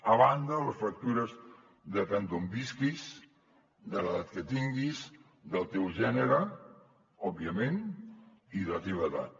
a banda de les factures depèn d’on visquis de l’edat que tinguis del teu gènere òbviament i de la teva edat